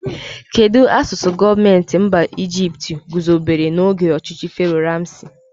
Kedụ asụsụ gọọmenti mba Ijipt guzobere n'oge ọchịchị Fero Ramsi?